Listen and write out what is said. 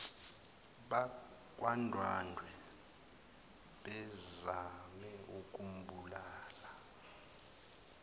bakwandwandwe bezame ukumbulala